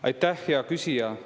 Aitäh, hea küsija!